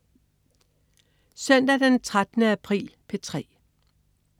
Søndag den 13. april - P3: